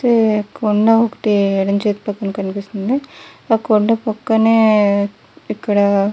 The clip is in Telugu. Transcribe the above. కొండ ఒకటి ఎడమ చేతి పక్కన కనిపిస్తుంది ఆ కొండ పక్కనే ఇక్కడ --